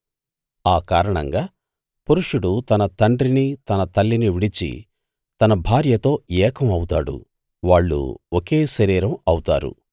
ఆ కారణంగా పురుషుడు తన తండ్రిని తన తల్లిని విడిచి తన భార్యతో ఏకం అవుతాడు వాళ్ళు ఒకే శరీరం అవుతారు